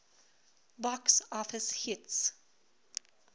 box office hits